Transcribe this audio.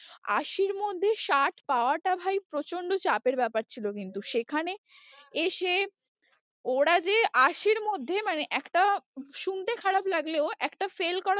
আশির মধ্যে ষাট পাওয়াটা ভাই প্রচন্ড চাপের ব্যাপার ছিল কিন্তু সেখানে এসে ওরা যে আশির মধ্যে মানে একটা শুনতে খারাপ লাগলেও একটা fail করা